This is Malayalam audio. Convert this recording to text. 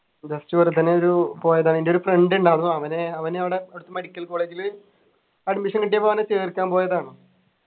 just വെറുതെനെ ഒരു പോയതാ എൻ്റെ ഒരു friend ഉണ്ടാരുന്നു അവനു അവനവിടെ അവിടെത്തെ medical college ല് admission കിട്ടിയപ്പോ അവനെ ചേർക്കാൻ പോയതാണ്